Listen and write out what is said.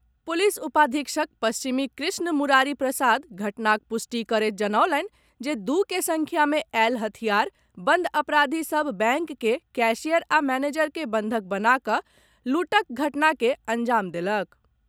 Police उपाधीक्षक पश्चिमी कृष्ण मुरारी प्रसाद घटनाक पुष्टि करैत जनौलनि जे दू के संख्या मे आयल हथियार बंद अपराधी सभ बैंक के कैशियर आ मनेजर के बंधक बना कऽ लूटक घटना के अंजाम देलक।